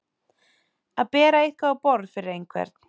Að bera eitthvað á borð fyrir einhvern